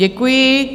Děkuji.